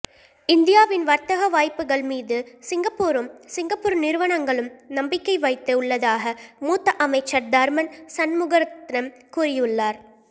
இந்தியாவின் வர்த்தக வாய்ப்புகள் மீது சிங்கப்பூரும் சிங்கப்பூர் நிறுவனங்களும் நம்பிக்கை வைத்து உள்ளதாக மூத்த அமைச்சர் தர்மன் சண்முகரத்னம் கூறியுள்ளார்